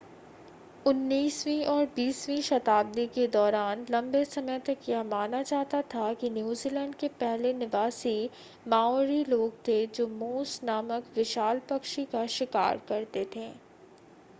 उन्नीसवीं और बीसवीं शताब्दी के दौरान लंबे समय तक यह माना जाता था कि न्यूजीलैंड के पहले निवासी माओरी लोग थे जोे मोस नामक विशाल पक्षी का शिकार करते थे